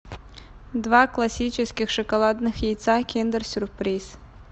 два классических шоколадных яйца киндер сюрприз